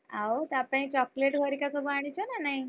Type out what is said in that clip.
ଆଉ ତା ପାଇଁ chocolate ହେରିକା ସବୁ ଆଣିଛ ନା ନାହିଁ?